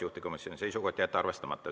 Juhtivkomisjoni seisukoht on jätta arvestamata.